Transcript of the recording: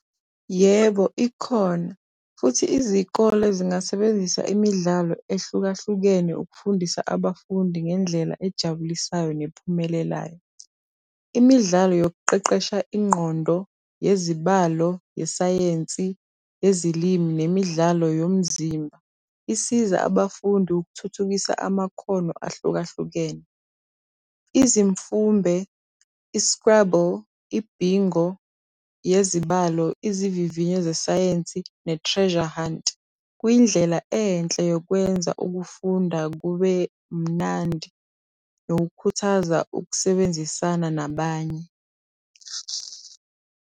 Yebo, ikhona. Futhi izikole zingasebenzisa imidlalo ehlukahlukene ukufundisa abafundi ngendlela ejabulisayo nephumelelayo. Imidlalo yokuqeqesha ingqondo yezibalo, yesayensi, yezilimi nemidlalo yomzimba isiza abafundi ukuthuthukisa amakhono ahlukahlukene. Izimfumbe, i-Scrabble, i-Bingo yezibalo, izivivinyo zesayensi ne-Treasure hunt kuyindlela enhle yokwenza ukufunda kube mnandi nokukhuthaza ukusebenzisana nabanye.